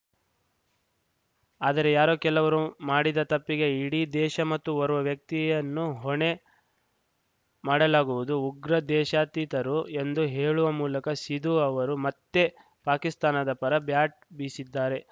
ಆದರೆ ಯಾರೋ ಕೆಲವರು ಮಾಡಿದ ತಪ್ಪಿಗೆ ಇಡೀ ದೇಶ ಮತ್ತು ಓರ್ವ ವ್ಯಕ್ತಿಯನ್ನು ಹೊಣೆ ಮಾಡಲಾಗುವುದು ಉಗ್ರರು ದೇಶಾತೀತರು ಎಂದು ಹೇಳುವ ಮೂಲಕ ಸಿಧು ಅವರು ಮತ್ತೆ ಪಾಕಿಸ್ತಾನದ ಪರ ಬ್ಯಾಟ್‌ ಬೀಶಿದ್ದಾರೆ